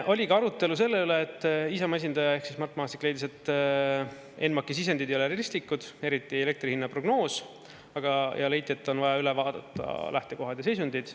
Oli ka arutelu selle üle, et Isamaa esindaja ehk Mart Maastik leidis, et ENMAK-i sisendid ei ole realistlikud, eriti elektri hinna prognoos, ja leiti, et on vaja üle vaadata lähtekohad ja seisundid.